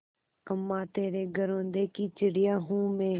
अम्मा तेरे घरौंदे की चिड़िया हूँ मैं